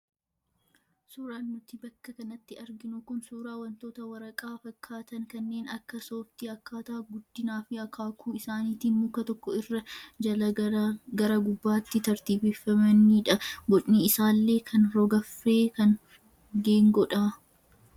Suuraan nuti bakka kanatti arginu kun suuraa wantoota waraqaa fakkaatan kanneen akka sooftii akkaataa guddinaa fi akaakuu isaaniitiin muka tokko irra jalaa gara gubbaatti tartiibeffamanidha. Bocni isaallee kaan rog-arfee kaan geengoodha.